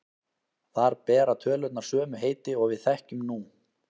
Þar bera tölurnar sömu heiti og við þekkjum nú.